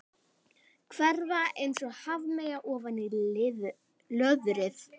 Hverfa einsog hafmeyja ofan í löðrið.